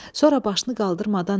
Sonra başını qaldırmadan dedi.